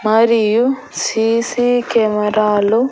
మరియు C C కెమెరాలు --